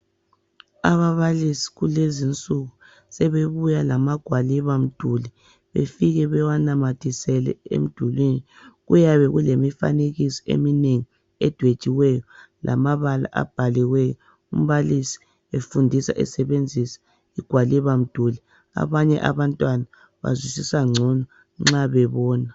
Ababalisi kulezinsuku sebebuya lamagwaliba mduli, befike bewanamathisele emdulini. Kuyabe kulemifanekiso eminengi edwetshiweyo lamabala abhaliweyo. Umbalisi efundisa esebenzisa igwaliba mduli abanye abantwana bazwisisa ngcono nxa bebona.